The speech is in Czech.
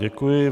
Děkuji.